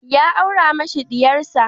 Ya aura mashi diyar sa.